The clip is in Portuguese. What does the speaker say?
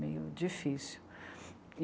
Meio difícil.